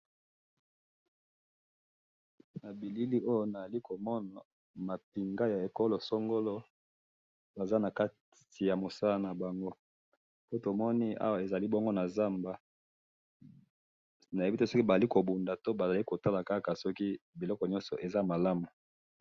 Na bilili oyo nazali ko mona ma pinga ya ekolo songolo, baza na kati ya mosala na bango, tomoni bongo ezali awa na zamba, nayebi te soki bazali ko bunda to kotala soki biloko nyoso ezali malamu.